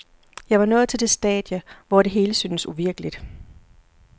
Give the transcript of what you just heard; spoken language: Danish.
Jeg var nået til det stadie, hvor det hele syntes uvirkeligt.